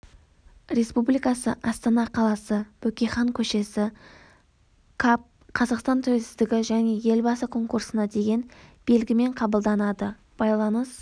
республикасы астана қаласы бөкейхан көшесі каб қазақстан тәуелсіздігі және елбасы конкурсына деген белгімен қабылданады байланыс